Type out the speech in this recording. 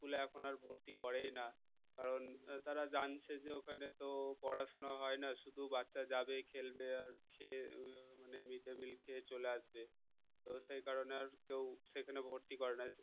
school এ এখন আর ভর্তি করেই না কারণ তারা জানছে যে ওখানে তো পড়াশোনা হয় না শুধু বাচ্চা যাবে খেলবে আর খেয়ে হম mid day meal খেয়ে চলে আসবে তো সেই কারণে আর কেউ সেখানে ভর্তি করে না